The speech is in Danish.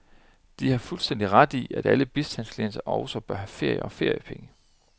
De har fuldstændig ret i, at alle bistandsklienter også bør have ferie og feriepenge.